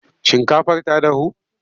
Shinkafar ta dahu?